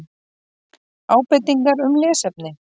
Ábendingar um lesefni: